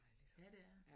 Ja det er det